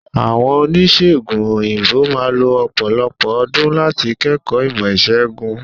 Àwọn Oníṣègùn òyìnbó máà lo ọ̀pọ̀lọpọ̀ ọdún láti kẹ́kọ̀ọ́ ìmọ̀ ìṣègùn.